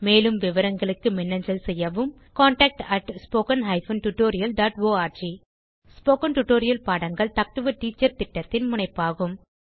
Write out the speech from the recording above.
மேலும் விவரங்களுக்கு மின்னஞ்சல் செய்யவும் contactspoken tutorialorg ஸ்போகன் டுடோரியல் பாடங்கள் டாக் டு எ டீச்சர் திட்டத்தின் முனைப்பாகும்